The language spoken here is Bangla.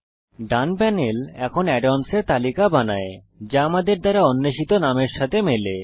ডান প্যানেল এখন add অন্স এর তালিকা বানায় যা আমাদের দ্বারা অন্বেষিত নামের সাথে মেলে